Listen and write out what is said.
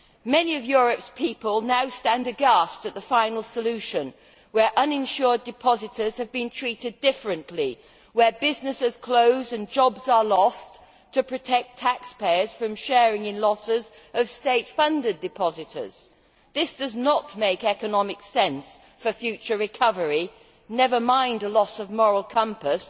Many of Europe's people now stand aghast at the final solution, where uninsured depositors have been treated differently, where businesses close and jobs are lost to protect taxpayers from sharing in losses of state funded depositors. This does not make economic sense for future recovery, to say nothing of the loss of moral compass.